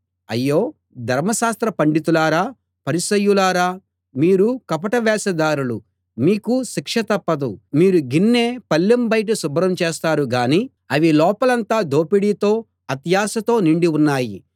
అయ్యో ధర్మశాస్త్ర పండితులారా పరిసయ్యులారా మీరు కపట వేషధారులు మీకు శిక్ష తప్పదు మీరు గిన్నె పళ్లెం బయట శుభ్రం చేస్తారుగానీ అవి లోపలంతా దోపిడీతో అత్యాశతో నిండి ఉన్నాయి